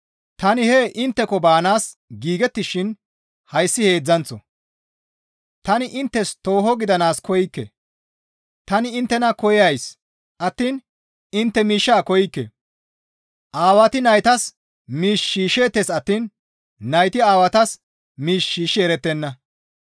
Tani hee intteko baanaas giigettishin hayssi heedzdzanththo; tani inttes tooho gidanaas koykke; tani inttena koyays attiin intte miishshaa koykke; aawati naytas miish shiishsheettes attiin nayti aawatas miish shiishshi erettenna.